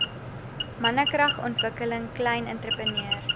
mannekragontwikkeling klein entrepreneur